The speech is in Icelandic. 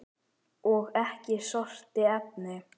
Og ekki skorti efni.